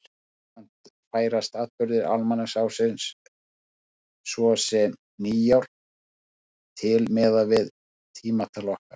Jafnframt færast atburðir almanaksársins, svo sem nýár, til miðað við tímatal okkar.